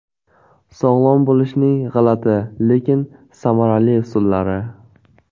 Sog‘lom bo‘lishning g‘alati, lekin samarali usullari.